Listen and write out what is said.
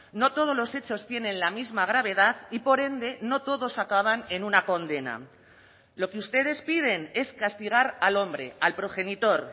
no todos los hechos tienen la misma gravedad y por ende no todos acaban en una condena lo que ustedes piden es castigar al hombre al progenitor